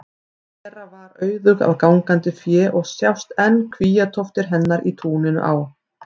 Bera var auðug af gangandi fé og sjást enn kvíatóftir hennar í túninu á